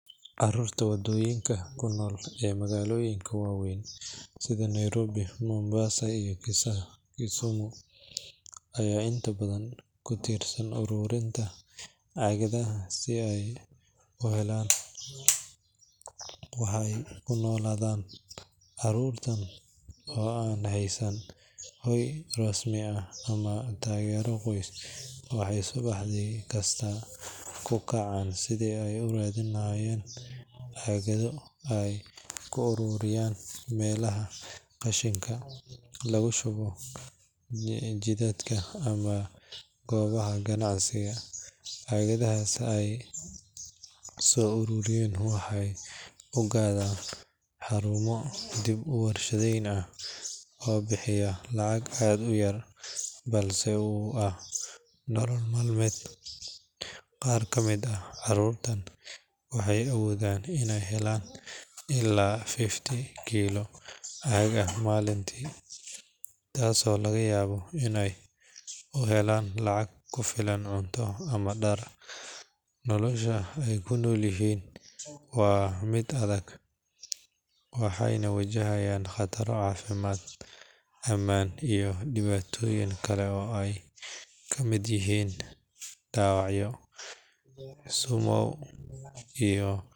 Carruurta wadooyinka ku nool ee magaalooyinka waaweyn sida Nairobi, Mombasa iyo Kisumu ayaa intooda badan ku tiirsan ururinta caagadaha si ay u helaan wax ay ku noolaadaan. Carruurtan oo aan haysan hoy rasmi ah ama taageero qoys, waxay subax kasta u kacaan si ay u raadiyaan caagado ay ka soo ururiyaan meelaha qashinka laga shubo, waddooyinka ama goobaha ganacsiga. Caagadaha ay soo uruuriyaan waxay u geeyaan xarumo dib-u-warshadayneed kuwaas oo bixiya lacag aad u yar, balse ay ugu noolyihiin nolol maalinle ah. Qaar ka mid ah carruurtan waxay awoodaan inay helaan ilaa 50 kiilo oo caag ah maalintii, taasoo laga yaabo inay u helan lacag ugu filnaato cunto ama dhar. Nolosha ay ku nool yihiin waa mid adag, waxayna wajahaan khataro badan oo dhinaca caafimaadka, amniga iyo dhibaatooyin kale ah — oo ay ka mid yihiin dhaawacyo iyo sun.